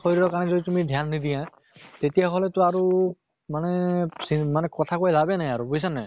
শৰীৰৰ কাৰণে যদি তুমি ধ্য়ান নিদিয়া তেতিয়া হʼলেতো আৰু মানে মানে কথা কৈ লাভে নাই আৰু বুইছা নে নাই?